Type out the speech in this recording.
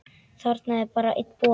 Það er bara einn bolli!